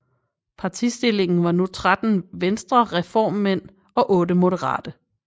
Partistillingen var nu 13 venstrereformmænd og 8 moderate